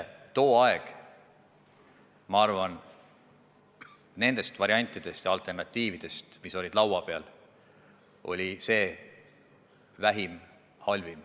Tol ajal oli see otsus nendest variantidest ja alternatiividest, mis olid laua peal, minu arvates kõige vähem halb.